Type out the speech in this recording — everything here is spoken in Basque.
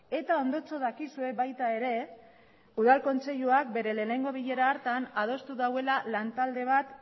eta ondotxo dakizue baita ere udal kontseiluak bere lehenengo bilera hartan adostu duela lantalde bat